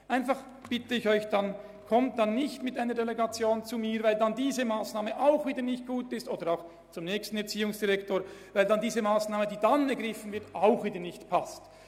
Ich bitte Sie einfach, in diesem Fall nicht mit einer Delegation an mich oder an den nächsten Erziehungsdirektor oder die nächste Erziehungsdirektorin zu gelangen, weil diese Massnahme auch wieder nicht gut ist.